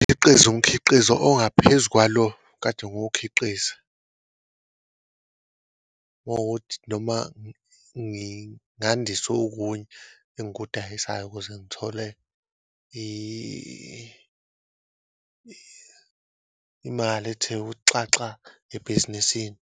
Ngikhiqize, umkhiqizo ongaphezu kwalo okade ngowukhiqiza, uma kuwukuthi noma ngingandisa okunye engikudayiseli ukuze ngithole imali ethe ukuthi xaxa ebhizinisini.